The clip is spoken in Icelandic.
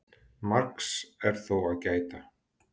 Margs er þó að gæta.